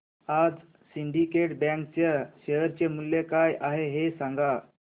आज Syndicate Bank च्या share चे मूल्य काय आहे हे सांगा